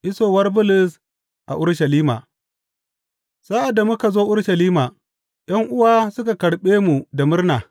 Isowar Bulus a Urushalima Sa’ad da muka zo Urushalima, ’yan’uwa suka karɓe mu da murna.